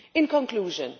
In conclusion,